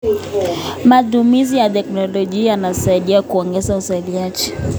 Matumizi ya teknolojia yanasaidia kuongeza uzalishaji.